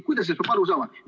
Kuidas sellest peab aru saama?